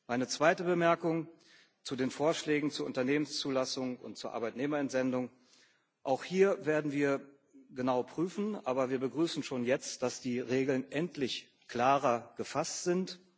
Meine zweite Bemerkung zu den Vorschlägen zur Unternehmenszulassung und zur Arbeitnehmerentsendung Auch hier werden wir genau prüfen, aber wir begrüßen schon jetzt, dass die Regeln endlich klarer gefasst sind.